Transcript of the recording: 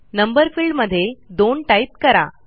number field मध्ये 2 type करा